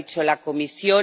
Lo ha dicho la Comisión.